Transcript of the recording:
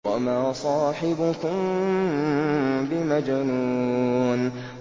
وَمَا صَاحِبُكُم بِمَجْنُونٍ